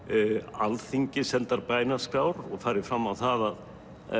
Alþingi sendar bænaskrár og farið fram á það að